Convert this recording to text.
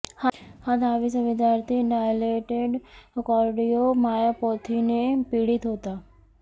हा दहावीचा विद्यार्थी डायलेटेड कार्डिओ मायोपॅथीने पीडित होता